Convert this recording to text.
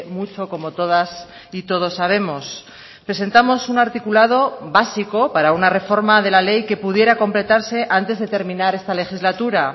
mucho como todas y todos sabemos presentamos un articulado básico para una reforma de la ley que pudiera completarse antes de terminar esta legislatura